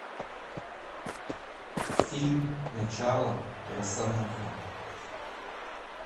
фильм начало росомаха